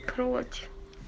прочь